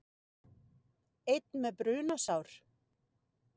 Einn með brunasár